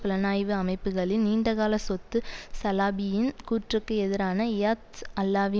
புலனாய்வு அமைப்புக்களின் நீண்டகால சொத்து சலாபியின் கூற்றுக்கு எதிராக இயத் அல்லாவி